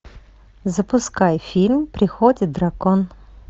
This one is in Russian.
запускай фильм приходит дракон